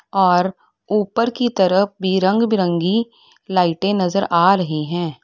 और उपर की तरफ भी रंग बिरंगी लाइटें नजर आ रही है।